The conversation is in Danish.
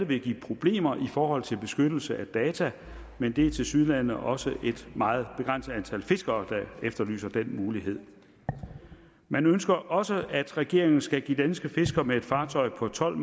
vil give problemer i forhold til beskyttelse af data men det er tilsyneladende også et meget begrænset antal fiskere der efterlyser den mulighed man ønsker også at regeringen skal give danske fiskere med et fartøj på tolv